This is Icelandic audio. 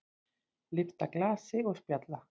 Lyfta glasi og spjalla.